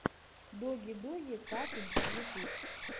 доги доги катунс ютуб